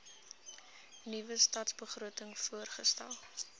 nuwe stadsbegroting voorgestel